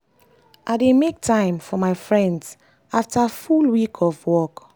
i dey make time for my friends after full week of work.